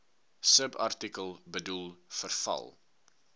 subartikel bedoel verval